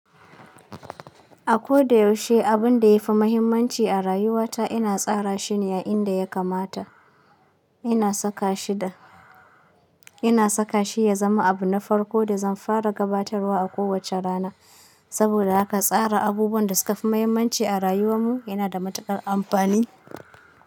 A ko da yaushe abun da ya fi mahimmanci a rayuwata ina tsara shi ne a inda ya kamata. Ina saka shi ya zama abu na farko da zan fara gabatarwa a kowacce rana. Saboda haka tsara abubuwan da suka fi mahimmanci a rayuwar mu yana da matuƙar amfani.